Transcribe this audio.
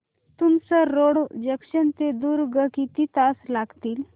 Tumsar road junction ते दुर्ग किती तास लागतील